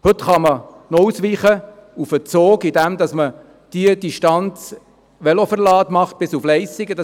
Heute kann man auf die Bahn ausweichen, indem man die Velos bis nach Leissigen in den Zug verlädt.